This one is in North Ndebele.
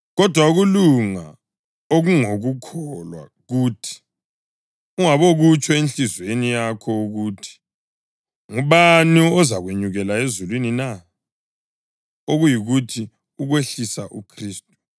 Kodwa ukulunga okungokukholwa kuthi: “Ungabokutsho enhliziyweni yakho ukuthi, ‘Ngubani ozakwenyukela ezulwini na?’ + 10.6 UDutheronomi 30.12” (okuyikuthi, ukwehlisa uKhristu)